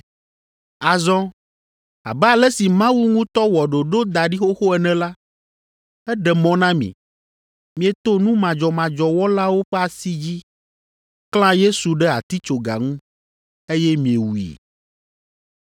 Azɔ, abe ale si Mawu ŋutɔ wɔ ɖoɖo da ɖi xoxo ene la, eɖe mɔ na mi, mieto nu madzɔmadzɔ wɔlawo ƒe asi dzi, klã Yesu ɖe atitsoga ŋu eye miewui.